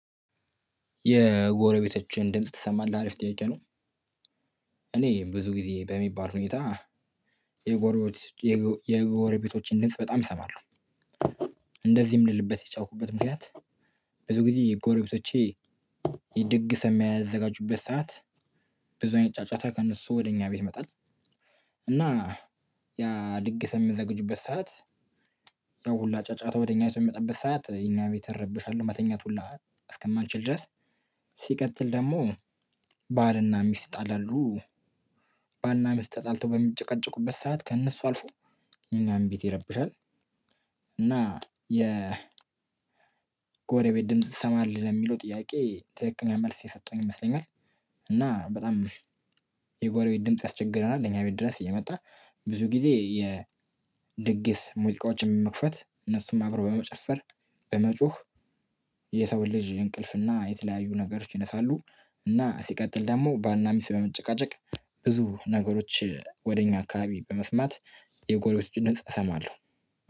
የጎረቤቶችን ድምጽ ትሰማለህ አሪፍ ጥያቄ ነው። እኔ ብዙ ጊዜ በሚባል ሁኔታ የጎረቤት የጎረቤቶችን ድምጽ በጣም እሰማሎው። እንደዚህም ልልበት የቻልኩበት ምክንያት። ብዙ ጊዜ የጎረቤቶቼ የድግስ የሚያዘጋጁበት ሰዓት ብዙ አይነት ጫጫታ ከእነሱ ወደ እኛ ቤት ይመጣል። እና ያ ድግስ በሚያዘጋጁበት ሰዓት ያው ሁላ ጫጫታ ወደ እኛ በሚመጣበት ሰዓት የኛ ቤት እረበሻለሁ። መተኛት ሁላ እስከማልችል ድረስ ሲቀጥል ደግሞ ባልና ሚስት ይጣላሉ። ባልና ሚስት ተጣልቶ በሚጨቃጨቁበት ሰዓት ከእነሱ አልፎ የኛን ቤት ይረብሻል። እና የ ጎረቤት ድምጽ ትሰማለህ ለሚለው ጥያቄ ትክክኛ መልስ የሰጠሁኝ ይመስለኛል። እና በጣም የጎረቤት ድምጽ ያስቸግረናል እኛ ቤት ድረስ እየመጣ። ብዙ ጊዜ የድግስ ሙዚቃዎችን መክፈት እነሱም አብሮ በመጨፈር በመጮህ የሰው ልጅ እንቅልፍና የተለያዩ ነገሮች ይነሳሉ። እና ሲቀጥል ደግሞ ባልና ሚስት በመጨቃጨቅ ብዙ ነገሮች ወደ እኛ አካባቢ በመስማት የጎሮቤቶቹ ድምጽ እሰማለሁ።